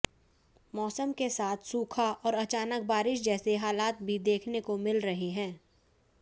मौसम के साथ सूखा और अचानक बारिश जैसे हालात भी देखने को मिल रहे हैं